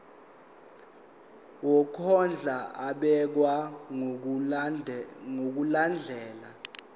wokondla ubekwa ngokulandlela